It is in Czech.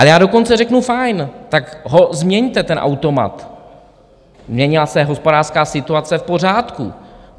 Ale já dokonce řeknu - fajn, tak ho změňte, ten automat, změnila se hospodářská situace, v pořádku.